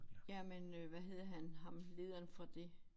Jamen øh hvad hedder han ham lederen fra det